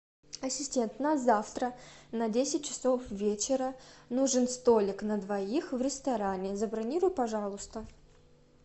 ассистент на завтра на десять часов вечера нужен столик на двоих в ресторане забронируй пожалуйста